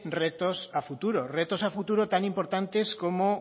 retos a futuro retos a futuro tan importantes como